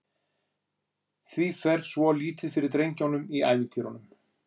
Því fer svo lítið fyrir drengjunum í ævintýrunum?